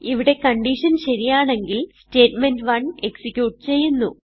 ഇവിടെ കൺഡിഷൻ ശരിയാണെങ്കിൽ statement one execute ചെയ്യുന്നു